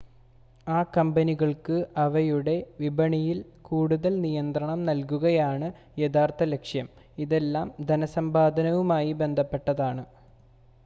ആ കമ്പനികൾക്ക് അവയുടെ വിപണികളിൽ കൂടുതൽ നിയന്ത്രണം നൽകുകയാണ് യഥാർത്ഥ ലക്ഷ്യം ഇതെല്ലാം ധനസമ്പാദനവുമായി ബന്ധപ്പെട്ടതാണ്